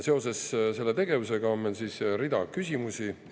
Seoses selle tegevusega on meil rida küsimusi.